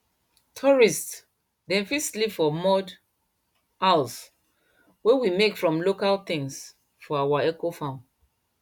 tourists dem fit sleep for mud house wey we make from local things for our ecofarm